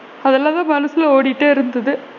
அதலாம் தான் மனசுல ஓடிக்கிட்டே இருந்தது.